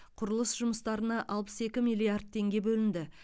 құрылыс жұмыстарына алпыс екі миллиард теңге бөлінді